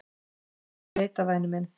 """Nei, ég veit það, væni minn."""